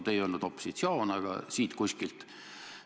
No te ei öelnud "opositsioon", ütlesite, et see info on "siit kuskilt".